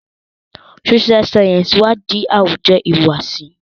Social Sciences iwadi awujo ihuwasi.